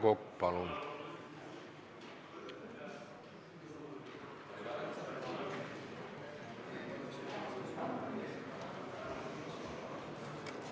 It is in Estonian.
Aivar Kokk, palun!